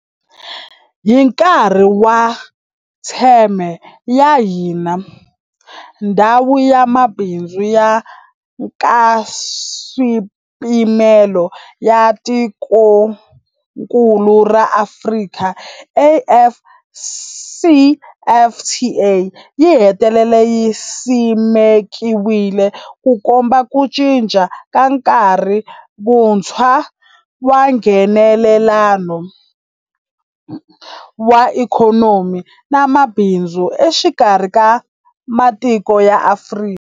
Hi nkarhi wa theme ya hina, Ndhawu ya Mabindzu ya Nkaswipimelo ya Tikokulu ra Afrika, AfCFTA, yi hetelele yi simekiwile, Ku komba ku cinca ka nkarhi wuntshwa wa Nghenelelano wa ikhonomi na mabindzu exikarhi ka matiko ya Afrika.